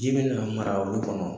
Ji bɛna mara olu kɔnɔ